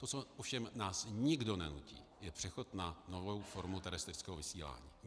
To, co ovšem nás nikdo nenutí, je přechod na novou formu terestrického vysílání.